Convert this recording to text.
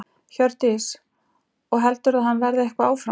Hjördís: Og heldurðu að hann verði eitthvað áfram?